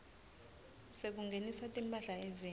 sekungenisa timphahla eveni